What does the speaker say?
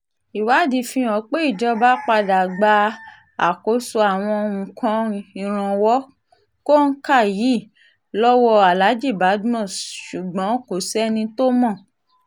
ìwádìí fihàn pé ìjọba padà gba àkóso àwọn nǹkan ìrànwọ́ kòǹkà yìí lọ́wọ́ alhaji badmus ṣùgbọ́n kò sẹ́ni tó mọ̀